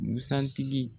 Busan tigi